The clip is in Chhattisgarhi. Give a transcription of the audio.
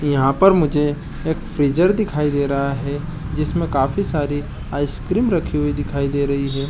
यहाँ पार मुझे एक फ्रीजर दिखाई दे रहा है जिसमे काफी सारी आइस रखी हुई दिखाई दे रही है।